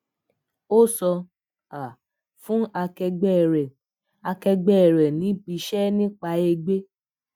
ó so um fun akẹgbẹ́ rẹ̀ akẹgbẹ́ rẹ̀ nibiṣẹ́ nípa egbé